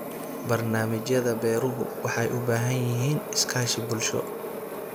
Barnaamijyada beeruhu waxay u baahan yihiin iskaashi bulsho.